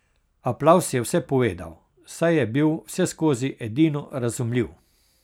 Aplavz je vse povedal, saj je bil vseskozi edino razumljiv.